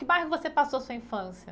Que bairro você passou sua infância?